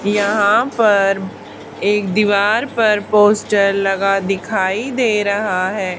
यहां पर एक दीवार पर पोस्टर लगा दिखाई दे रहा है।